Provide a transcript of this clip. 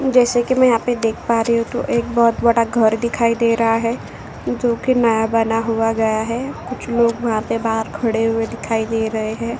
जैसा कि मैं यहाँ पर देख पा रही हूँ तो एक बोहोत बड़ा घर् दिखाई दे रहा है जोकि नया बना हुआ गया है। कुछ लोग यहाँ पे बाहर खड़े हुए दिखाई दे रहे हैं।